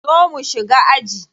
Zo mu shiga aji.